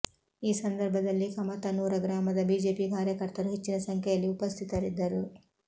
ಈ ಸಂದರ್ಭದಲ್ಲಿ ಕಮತನೂರ ಗ್ರಾಮದ ಬಿಜೆಪಿ ಕಾರ್ಯಕರ್ತರು ಹೆಚ್ಚಿನ ಸಂಖ್ಯೆಯಲ್ಲಿ ಉಪಸ್ಥಿತರಿದ್ದರು